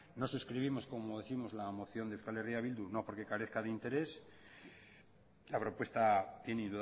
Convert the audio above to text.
no suscribimos como décimos la moción de euskal herria bildu no por que carezca de interés la propuesta tiene